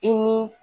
I ni